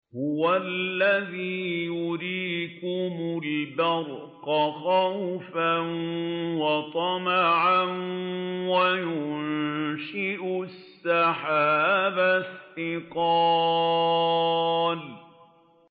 هُوَ الَّذِي يُرِيكُمُ الْبَرْقَ خَوْفًا وَطَمَعًا وَيُنشِئُ السَّحَابَ الثِّقَالَ